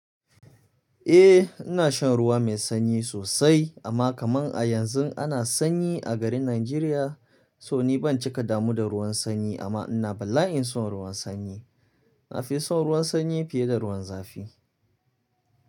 Eh ina shan ruwa mai sanyi sosai amma kaman a yanzu ana sanyi a garin Najeriya so ni ban cika damu da ruwan sanyi amma ina bala'in son ruwan sanyi. Nafison ruwan sanyi fiye da ruwan zafi.